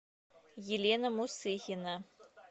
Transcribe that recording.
елена мусыхина